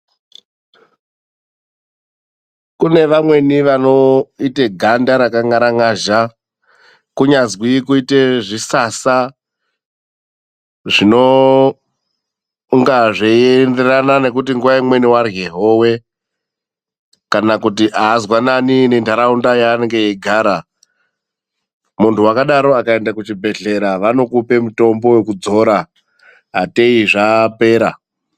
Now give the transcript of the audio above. Kune vamweni vanoita ganda rakangaranyazha, kunyanzwi kuite zvisasa zvinonga zvichienderana nekuti nguva imweni warye howe kana kuti haazwaanani nendaraunda yanogara .Muntu wakadaro kana akaenda kuchibhedhleya vanomupa mutombo wekuzora ateyi zvapera.